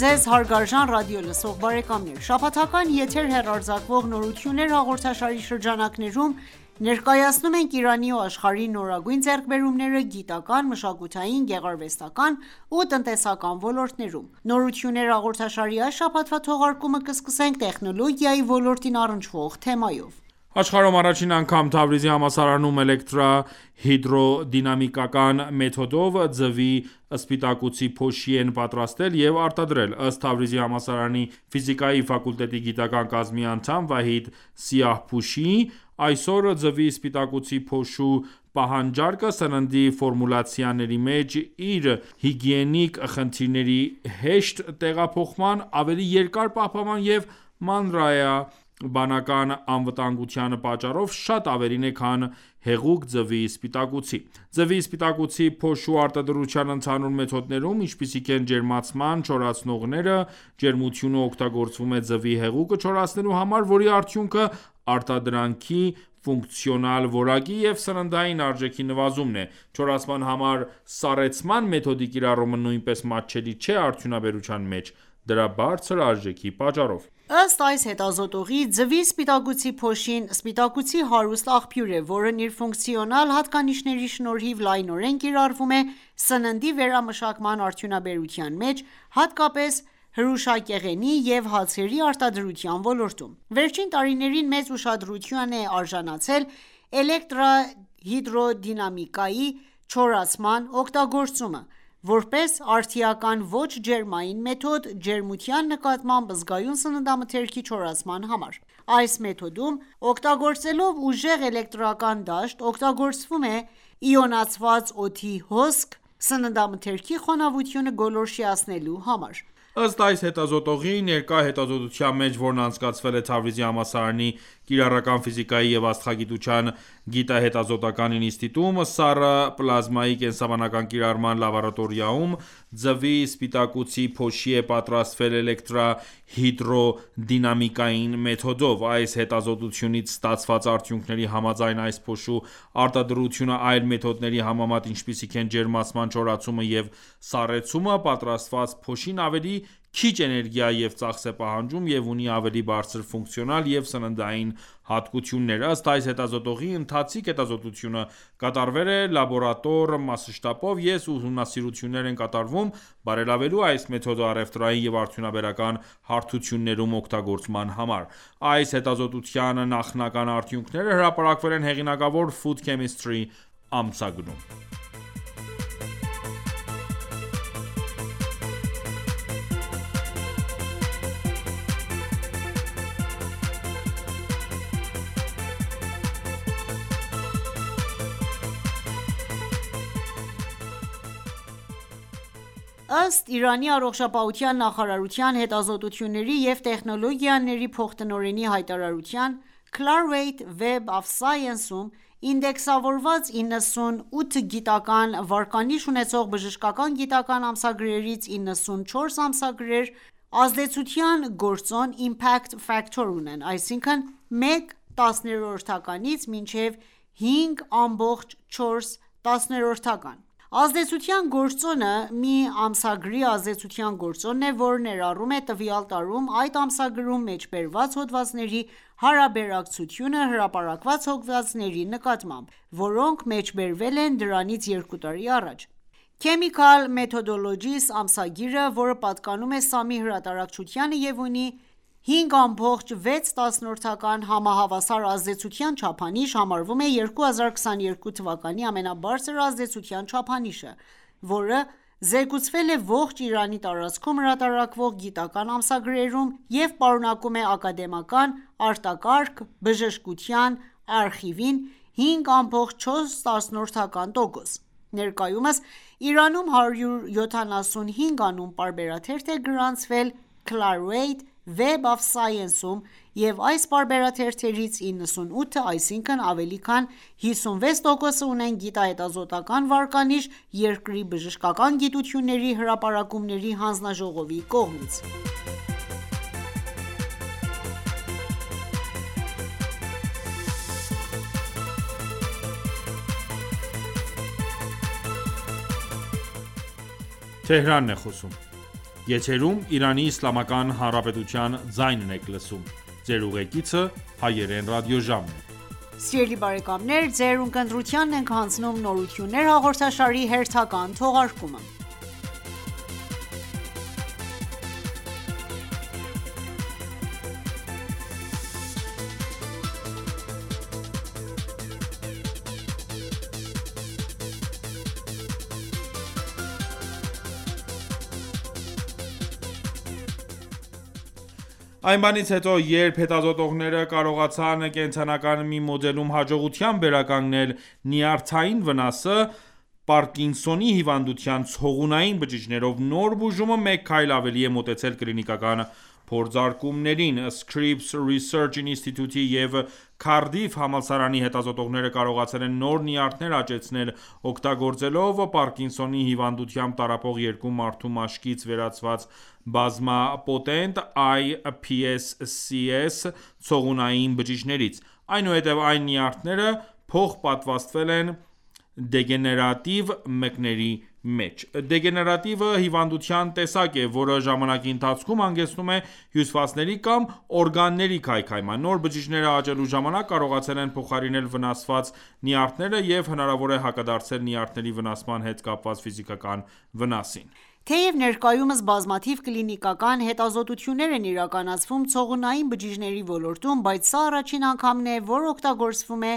ձեզ հարգարժան ռադիոլսող բարեկամներ: Շաբաթական եթեր հեռարձակվող «Նորություններ»հաղորդաշարի շրջանակներում ,ներկայացնում ենք Իրանի ու աշխարհի նորագույն ձեռքբերումները՝գիտական ,մշակութային ,գեղարվեստական ու տնտեսական ոլորտներում: «Նորություններ»հաղորդաշարի այս շաբաթվա թողարկումը կսկսենք տեխնոլոգիայի ոլորտին առնչվող թեմայով: Աշխարհում առաջին անգամ Թավրիզի համալսարանում էլեկտրահիդրոդինամիկական մեթոդով ձվի սպիտակուցի փոշի են պատրաստել և արտադրել։ Ըստ Թավրիզի համալսարանի ֆիզիկայի ֆակուլտետի գիտական կազմի անդամ Վահիդ Սիահփուշի, այսօր ձվի սպիտակուցի փոշու պահանջարկը սննդի ֆորմուլացիաների մեջ ,իր հիգիենիկ խնդիրների, հեշտ տեղափոխման, ավելի երկար պահպանման և մանրէաբանական անվտանգության պատճառով շատ ավելին է, քան հեղուկ ձվի սպիտակուցի: Ձվի սպիտակուցի փոշու արտադրության ընդհանուր մեթոդներում, ինչպիսիք են՝ ջերմացան չորացնողները, ջերմությունը օգտագործվում է ձվի հեղուկը չորացնելու համար, որի արդյունքը արտադրանքի ֆունկցիոնալ որակի և սննդային արժեքի նվազումն է: Չորացման համար ,սառեցման մեթոդի կիրառումը նույնպես մատչելի չէ արդյունաբերության մեջ՝ դրա բարձր արժեքի պատճառով: Ըստ այս հետազոտողի՝ ձվի սպիտակուցի փոշին սպիտակուցի հարուստ աղբյուր է, որն իր ֆունկցիոնալ հատկանիշների շնորհիվ լայնորեն կիրառվում է սննդի վերամշակման արդյունաբերության մեջ, հատկապես՝ հրուշակեղենի և հացերի արտադրության ոլորտում։ Վերջին տարիներին մեծ ուշադրության է արժանացել էլեկտրահիդրոդինամիկ չորացման օգտագործումը ,որպես արդիական ոչ ջերմային մեթոդ, ջերմության նկատմամբ զգայուն սննդամթերքի չորացման համար: Այս մեթոդում, օգտագործելով ուժեղ էլեկտրական դաշտ, օգտագործվում է իոնացված օդի հոսք (պլազմա) սննդամթերքի խոնավությունը գոլորշիացնելու համար: Ըստ այս հետազոտողի, ներկա հետազոտության մեջ, որն անցկացվել է Թավրիզի համալսարանի Կիրառական ֆիզիկայի և աստղագիտության գիտահետազոտական ինստիտուտում, սառը պլազմայի կենսաբանական կիրառման լաբորատորիայում, ձվի սպիտակուցի փոշի է պատրաստվել էլեկտրահիդրոդինամիկական մեթոդով: Այս հետազոտությունից ստացված արդյունքների համաձայն, այս փոշու արտադրությունը այլ մեթոդների համեմատ, ինչպիսիք են ջերմացան չորացումը և սառեցումը, պատրաստված փոշին ավելի քիչ էներգիա և ծախս է պահանջում և ունի ավելի բարձր ֆունկցիոնալ և սննդային հատկություններ: Ըստ այս հետազոտողի, ընթացիկ հետազոտությունը կատարվել է լաբորատոր մասշտաբով, և ուսումնասիրություններ են կատարվում՝ բարելավելու այս մեթոդը առևտրային և արդյունաբերական հարթություններում օգտագործման համար: Այս հետազոտության նախնական արդյունքները հրապարակվել են հեղինակավոր Food Chemistry ամսագրում։ Ըստ Իրանի Առողջապահության նախարարության հետազոտությունների և տեխնոլոգիաների փոխտնօրենի հայտարարության՝ Clarivate Web of Science-ում ինդեքսավորված 98 գիտական վարկանիշ ունեցող բժշկական գիտական ամսագրերից 94 ամսագրեր, ազդեցության գործոն ( Impact Factor) ունեն, այսինքն՝ մեկ տասնորդականից մինչև 5 ամբողջ 4 տասնորդական: Ազդեցության գործոնը(Impact Factor) մի ամսագրի ազդեցության գործոնն է, որը ներառում է տվյալ տարում այդ ամսագրում մեջբերված հոդվածների հարաբերակցությունը հրապարակված հոդվածների նկատմամբ, որոնք մեջբերվել են դրանից երկու տարի առաջ: «Chemical Methodologies» ամսագիրը, որը պատկանում է «Սամի »հրատարակչությանը և ունի 5.6 համահավասար ազդեցության չափանիշ, համարվում է 2022 թվականի ամենաբարձր ազդեցության չափանիշը, որը զեկուցվել է ողջ Իրանի տարածքում հրատարակվող գիտական ամսագրերում, և պատկանում է Ակադեմիական արտակարգ բժշկության արխիվին (5.4) :Ներկայումս Իրանում 175 անուն պարբերաթերթ է գրանցվել Clarivate Web of Science-ում և այս պարբերաթերթերից 98-ը,այսինքն ավելի քան 56%-ը, ունեն գիտահետազոտական վարկանիշ, երկրի Բժշկական գիտությունների հրապարակումների հանձնաժողովի կողմից։ Այն բանից հետո, երբ հետազոտողները կարողացան կենդանական մի մոդելում հաջողությամբ վերականգնել նյարդային վնասը, պարկինսոնի հիվանդության ցողունային բջիջներով նոր բուժումը մեկ քայլ ավելի է մոտեցել կլինիկական փորձարկումներին: Scripps Research Institute-ի և Cardiff համալսարանի հետազոտողները կարողացել են նոր նյարդեր աճեցնել՝ օգտագործելով պարկինսոնի հիվանդությամբ տառապող երկու մարդու մաշկից վերցված բազմա պոտենտ(iPSCs) ցողունային բջիջներից: Այնուհետև այս նյարդերը փոխպատվաստվել են դեգեներատիվ մկների մեջ: Դեգեներատիվը հիվանդության տեսակ է, որը ժամանակի ընթացքում հանգեցնում է հյուսվածքների կամ օրգանների քայքայման: Նոր բջիջները աճելու ժամանակ, կարողացել են փոխարինել վնասված նյարդերը և, հնարավոր է, հակադարձել նյարդերի վնասման հետ կապված ֆիզիկական վնասին: Թեև ներկայումս բազմաթիվ կլինիկական հետազոտություններ են իրականացվում ցողունային բջիջների ոլորտում, բայց սա առաջին անգամ է, որ օգտագործվում է